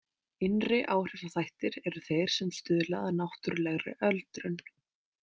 Innri áhrifaþættir eru þeir sem stuðla að náttúrulegri öldrun.